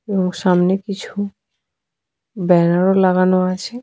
এবং সামনে কিছু ব্যানার -ও লাগানো আছে ।